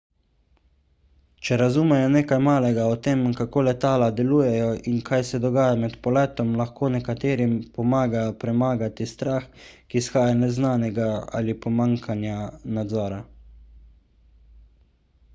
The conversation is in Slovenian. če razumejo nekaj malega o tem kako letala delujejo in kaj se dogaja med poletom lahko nekaterim pomaga premagati strah ki izhaja iz neznanega ali pomanjkanja nadzora